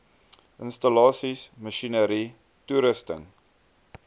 installasies masjinerie toerusting